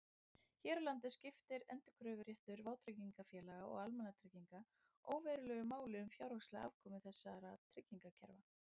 Hér á landi skiptir endurkröfuréttur vátryggingafélaga og almannatrygginga óverulegu máli um fjárhagslega afkomu þessara tryggingakerfa.